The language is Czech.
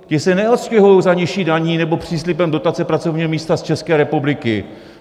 Ti se neodstěhují za nižší daní nebo příslibem dotace pracovního místa z České republiky.